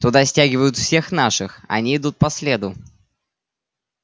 туда стягивают всех наших они идут по следу